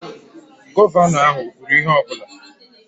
Gọvanọ ahụ o kwuru ihe ọ bụla?